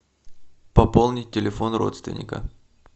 пополнить телефон родственника